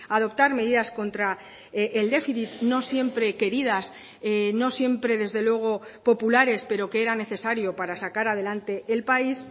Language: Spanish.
adoptar medidas contra el déficit no siempre queridas no siempre desde luego populares pero que eran necesario para sacar a delante el país